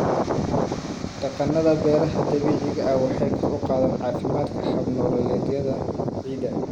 Dhaqannada beeraha dabiiciga ah waxay kor u qaadaan caafimaadka hab-nololeedyada ciidda.